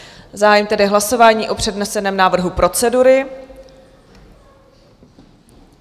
Zahájím tedy hlasování o předneseném návrhu procedury.